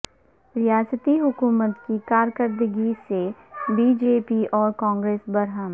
ریاستی حکومت کی کارکردگی سے بی جے پی اور کانگریس برہم